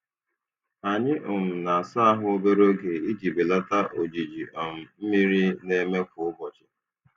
Anyị um na-asa ahụ obere oge iji belata ojiji um mmiri na-eme kwa ụbọchị.